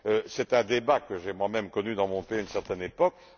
C'est un débat que j'ai moi même connu dans mon pays à une certaine époque.